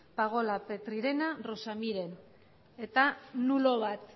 pagola petrirena rosa miren eta nulo bat